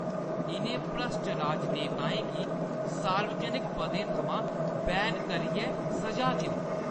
इʼनें भ्रश्ट राजनेताएं गी सार्वजनक पदें थमां बैन करियै स'जा देओ।